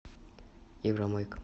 евромойка